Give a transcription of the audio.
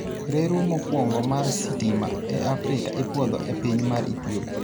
Reru mokwongo mar sitima e Afrika ipuodho e piny amr Ethiopia.